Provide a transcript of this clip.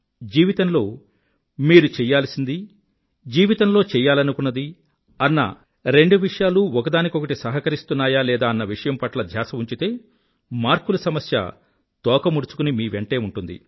జీవితంలో మీరు చెయ్యాల్సింది జీవితంలో చెయ్యాలనుకున్నది అన్న రెండు విషయాలూ ఒకదానికొకటి సహకరిస్తున్నాయా లేదా అన్న విషయం పట్ల ధ్యాస ఉంచితే మార్కుల సమస్య తోక ముడుచుకుని మీ వెంటే ఉంటుంది